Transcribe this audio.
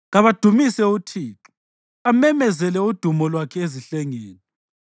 Kabamdumise uThixo, amemezele udumo lwakhe ezihlengeni.